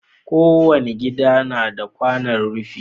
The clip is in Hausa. Kowani gida nada kwanon rifi